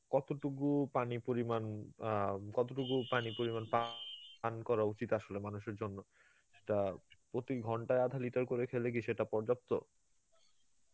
কত টুকু পানি পরিমান আ কত টুকু পানি পরিমান পা~ পান করা উচিত আসলে মানুষের জন্যে, সেটা প্রতি ঘন্টায় আধা liter করে খেলে কি সেটা পর্যাপ্ত?